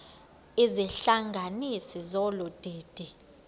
izihlanganisi zolu didi